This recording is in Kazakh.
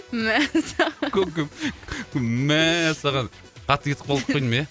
мәссаған көп көп мәссаған қатты кетіп қалдық қой деймін ия